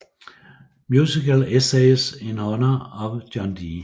Musical Essays in Honour of John D